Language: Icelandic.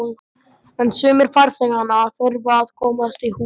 En sumir farþeganna þurfa að komast í hús.